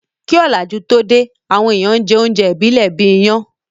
Kí òlàjú tó dé, àwọn èèyàn n jẹ oúnjẹ ìbílẹ̀ bíi iyán